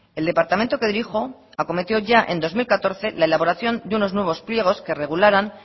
el departamento que dirijo acometió ya en dos mil catorce la elaboración de unos nuevos pliegos que regularan